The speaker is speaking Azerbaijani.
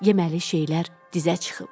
Yeməli şeylər dizə çıxıb.